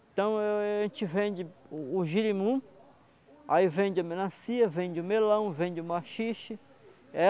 Então eu eu eu a gente vende o girimum, aí vende a melancia, vende o melão, vende o maxixe.